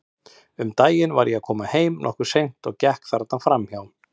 Um daginn var ég að koma heim, nokkuð seint, og gekk þarna fram hjá.